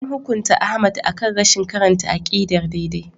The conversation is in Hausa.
An hukunta Ahmad akan rashin karanta aqidar daidai.